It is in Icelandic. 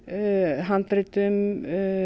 handritum